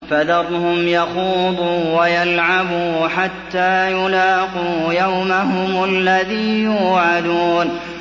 فَذَرْهُمْ يَخُوضُوا وَيَلْعَبُوا حَتَّىٰ يُلَاقُوا يَوْمَهُمُ الَّذِي يُوعَدُونَ